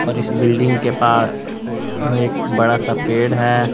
और इस बिल्डिंग के पास अह एक बड़ा सा पेड़ है।